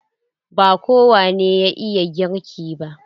Ba kowane ya iya girki ba.